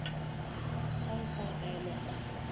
hong kong island